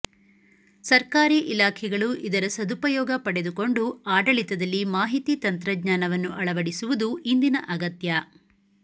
ಸರ್ಕಾರಿ ಇಲಾಖೆಗಳು ಇದರ ಸದುಪಯೋಗ ಪಡೆದುಕೊಂಡು ಆಡಳಿತದಲ್ಲಿ ಮಾಹಿತಿ ತಂತ್ರಜ್ಞಾನವನ್ನು ಅಳವಡಿಸುವುದು ಇಂದಿನ ಅಗತ್ಯ